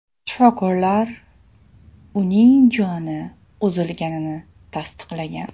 Shifokorlar uning joni uzilganini tasdiqlagan.